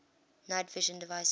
night vision devices